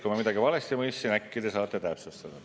Kui ma midagi valesti mõistsin, siis äkki te saate täpsustada.